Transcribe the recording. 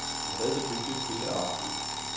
Vi havde det hyggeligt hele aftenen.